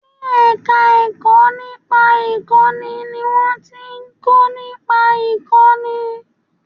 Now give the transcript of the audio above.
Ní ẹ̀ka ẹ̀kọ́ nípa ìkọ́ni ni wọ́n ti ń kọ́ nípa ìkọ́ni